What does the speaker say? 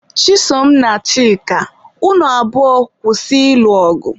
Chisom na Chika, unu abụọ kwụsị ịlụ ọgụ!